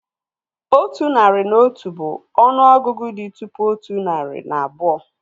Otu narị na otu bụ ọnụ ọgụgụ dị tụpụ otu narị na abụọ